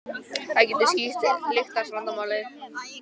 Það getur skýrt lyktarvandamálið.